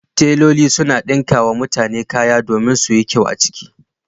Teloli sukan ɗinka wa mutane kaya domin su yi kyau a ciki